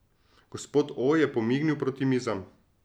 Gospod O je pomignil proti mizam.